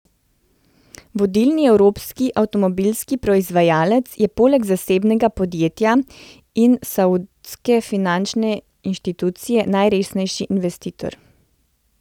Vodilni evropski avtomobilski proizvajalec je poleg zasebnega podjetja in saudske finančne inštitucije najresnejši investitor.